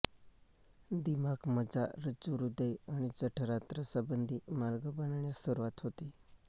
दिमाग मज्जा रज्जू हृदय आणि जठरांत्र संबंधी मार्ग बनण्यास सुरूवात होते